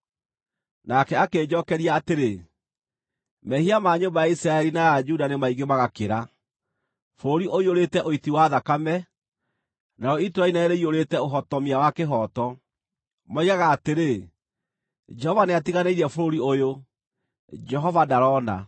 Nake akĩnjookeria atĩrĩ, “Mehia ma nyũmba ya Isiraeli na ya Juda nĩ maingĩ magakĩra; bũrũri ũiyũrĩte ũiti wa thakame, narĩo itũũra inene rĩiyũrĩte ũhotomia wa kĩhooto. Moigaga atĩrĩ, ‘Jehova nĩatiganĩirie bũrũri ũyũ; Jehova ndarona.’